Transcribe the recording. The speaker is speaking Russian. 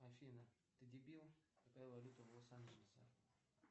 афина ты дебил какая валюта в лос анджелесе